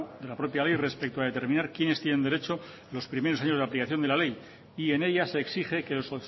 de la propia ley respecto a determinar quiénes tienen derecho los primeros años de la aplicación de la ley y en ella se exige que los